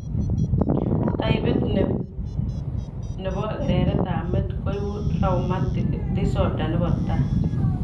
Taipit nii nebo kereret ab met koibu traumatic disoder nebo tai